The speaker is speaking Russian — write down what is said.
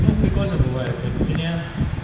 ну прикольно бывает вот у меня